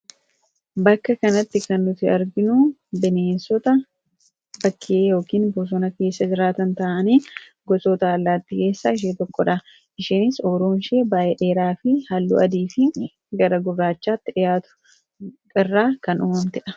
Bakka kanatti kan nuti arginu bineensota bakkee yookaan bosona keessa jiraatan ta'anii gosoota allaattii keessaa ishee tokko dha. Isheenis uuruun ishee baay'ee dheeraa fi halluu adii fi gara gurraachaatti dhiyaatu irraa kan uumamte dha.